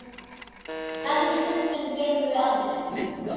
Þessum stundum gleymum við aldrei.